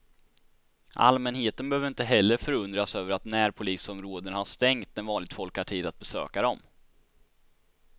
Allmänheten behöver inte heller förundras över att närpolisområdena har stängt när vanligt folk har tid att besöka dem.